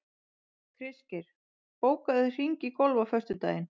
Kristgeir, bókaðu hring í golf á föstudaginn.